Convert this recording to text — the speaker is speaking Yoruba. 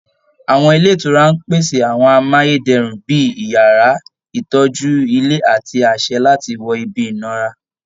Àwọn ilé ìtura ń pèsè àwọn amáyé dẹrùn bí i yàrá, ìtọ́jú ilé àti àṣẹ láti wọ ibi ìnara